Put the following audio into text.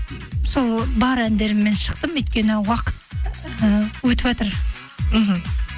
сол бар әндеріммен шықтым өйткені уақыт і өтіватыр мхм